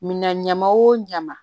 Minan ɲama o ɲama